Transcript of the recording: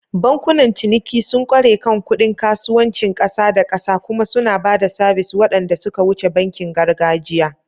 Bankunan ciniki sun ƙware kan kuɗin kasuwancin ƙasa da ƙasa kuma suna ba da sabis waɗanda suka wuce bankin gargajiya.